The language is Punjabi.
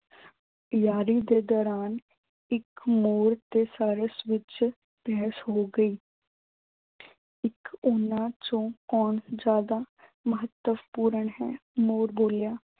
ਯਾਰੀ ਦੇ ਦੌਰਾਨ ਇੱਕ ਮੋਰ ਤੇ ਵਿੱਚ ਬਹਿਸ ਹੋ ਗਈ ਇੱਕ ਉਨ੍ਹਾਂ ਚੋਂ ਕੌਣ ਜ਼ਿਆਦਾ ਮਹੱਤਵਪੂਰਨ ਹੈ। ਮੋਰ ਬੋਲਿਆ